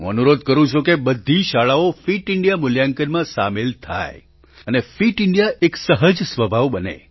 હું અનુરોધ કરું છું કે બધી શાળાઓ ફિટ ઇન્ડિયા મૂલ્યાંકનમાં સામેલ થાય અને ફિટ ઇન્ડિયા એક સહજ સ્વભાવ બને